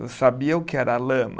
Eu sabia o que era lama.